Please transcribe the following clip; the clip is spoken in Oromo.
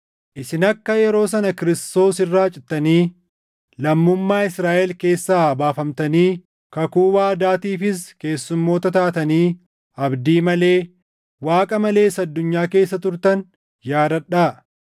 isin akka yeroo sana Kiristoos irraa cittanii, lammummaa Israaʼel keessaa baafamtanii, kakuu waadaatiifis keessumoota taatanii, abdii malee, Waaqa malees addunyaa keessa turtan yaadadhaa.